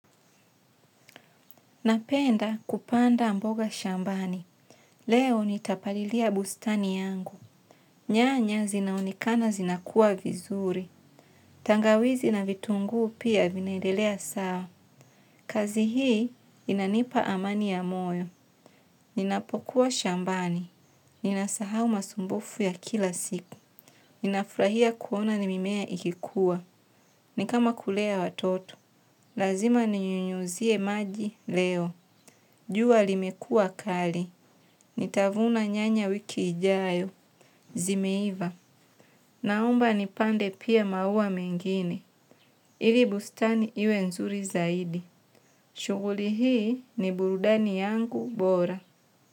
Napenda kupanda mboga shambani. Leo nitapalilia bustani yangu. Nyanya zinaoneka zinakua vizuri. Tangawizi na vitunguu pia vinaedelea sawa. Kazi hii inanipa amani ya moyo. Ninapokuwa shambani. Ninasahau masumbufu ya kila siku. Ninafurahia kuona mimea ikikua. Ni kama kulea watoto. Lazima ninyunyuzie maji leo. Jua limekua kali. Nitavuna nyanya wiki ijayo, zimeiva. Naomba nipande pia maua mengine. Ili bustani iwe nzuri zaidi. Shughuli ni burudani yangu bora.